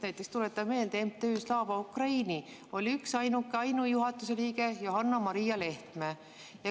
Näiteks tuletame meelde: MTÜ-s Slava Ukraini oli üksainuke juhatuse liige Johanna-Maria Lehtme.